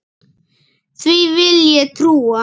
Því vil ég trúa!